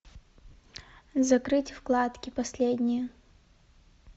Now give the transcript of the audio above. закрыть вкладки последние